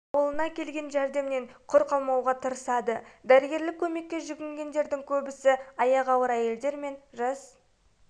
ауылына келген жәрдемнен құр қалмауға тырысады дәрігерлік көмекке жүгінгендердің көбісі аяғы ауыр айелдер мен жас